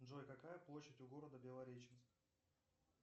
джой какая площадь у города белореченск